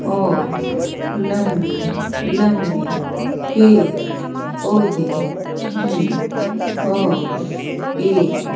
और लंबी लंबी पेड़ पौधे हैं और एक--